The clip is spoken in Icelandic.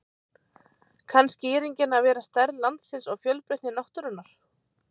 kann skýringin að vera stærð landsins og fjölbreytni náttúrunnar